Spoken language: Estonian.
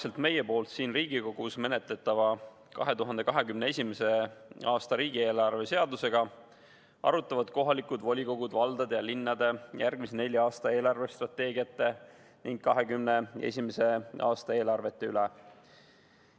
Samal ajal, kui meie siin Riigikogus menetleme 2021. aasta riigieelarve seadust, arutavad kohalikud volikogud valdade ja linnade järgmise nelja aasta eelarvestrateegiate ning 2021. aasta eelarvete üle.